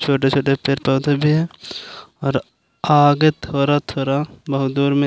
छोटे छोटे पेड़ पौधे भी है और आगे थोडा थोडा बहुत दूर में --